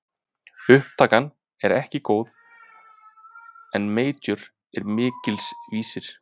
Upptakan er ekki góð en mjór er mikils vísir!